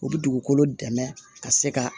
U bi dugukolo dɛmɛ ka se ka